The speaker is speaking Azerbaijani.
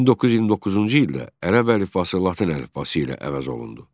1929-cu ildə ərəb əlifbası latın əlifbası ilə əvəz olundu.